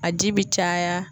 A ji bi caya.